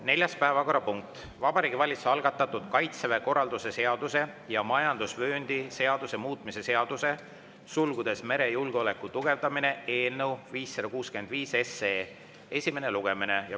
Neljas päevakorrapunkt: Vabariigi Valitsuse algatatud Kaitseväe korralduse seaduse ja majandusvööndi seaduse muutmise seaduse eelnõu 565 esimene lugemine.